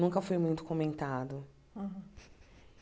Nunca foi muito comentado.